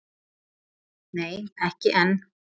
Nei, ekki enn